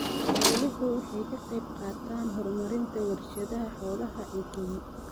Xooluhu waxay ka qaybqaataan horumarinta warshadaha xoolaha ee Kenya.